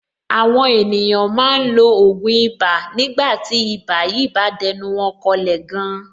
Àwọn ènìyàn máa ń lo ògùn ibà nígbà tí ibà yìí bá dẹnu wọn kọlẹ̀ gan.